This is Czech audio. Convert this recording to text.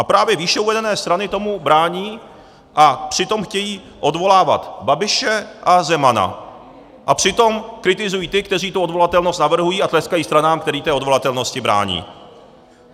A právě výše uvedené strany tomu brání, a přitom chtějí odvolávat Babiše a Zemana a přitom kritizují ty, kteří tu odvolatelnost navrhují, a tleskají stranám, které té odvolatelnosti brání.